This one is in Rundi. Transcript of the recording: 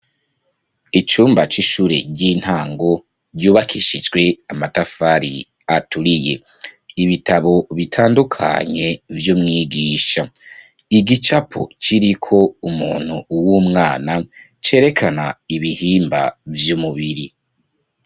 Icumba c'ishure ry'intango ryubakishijwe amatafari aturiye. Ibitabo bitandukanye vy'umwigisha. Igicapo kiriko umuntu w'umwana cerekana ibihimba vy'umubiri.